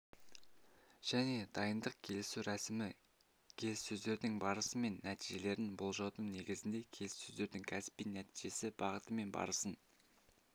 және дайындық келісу рәсімі келіссөздердің барысы мен нәтижелерін болжаудың негізінде келіссөздердің кәсіби-нәтижелі бағыты мен барысын